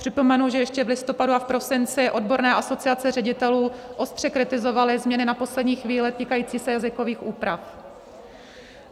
Připomenu, že ještě v listopadu a v prosinci odborné asociace ředitelů ostře kritizovaly změny na poslední chvíli, týkající se jazykových úprav.